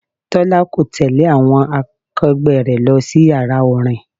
Tọ́lá kò tẹle àwọn akegbe rẹ lọ sí Ìyàrá orin.